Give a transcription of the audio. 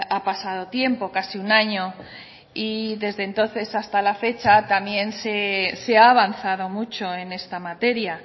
ha pasado tiempo casi un año y desde entonces hasta la fecha también se ha avanzado mucho en esta materia